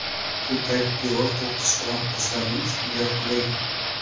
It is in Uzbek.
Shu paytda devor qo‘qqisdan qizlarning ustiga qulagan.